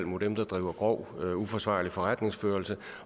mod dem der driver grov uforsvarlig forretningsførelse